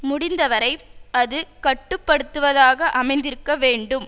முடிந்த வரை அது கட்டுப்படுத்துவதாக அமைந்திருக்க வேண்டும்